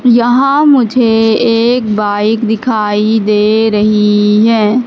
यहां मुझे एक बाइक दिखाई दे रही है।